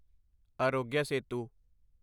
Aarogya Setu